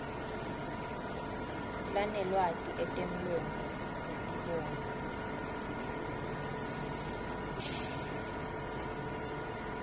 lanelwati etemlomo etibonwa